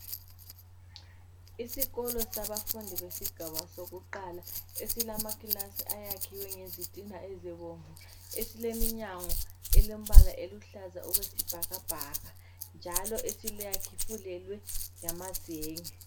Isikolo sabafundi besigaba sakuqala esilamakilasi ayakhiwe ngezitina ezibomvu esileminyango elombala eluhlaza okwesibhakabhaka njalo esifulelwe ngamazenge.